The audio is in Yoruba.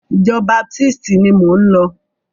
Ìjọ baptisti ni mò ń lọ.